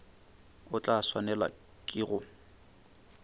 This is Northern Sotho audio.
o tla swanelwa ke go